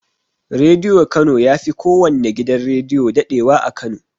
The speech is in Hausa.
Rediyo kano yafi kowanne gidan rediyo daɗewa a kano